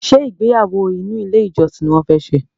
Ṣé ìgbéyàwó inú ilé ìjọsìn ni wọ́n fẹ́ ṣe?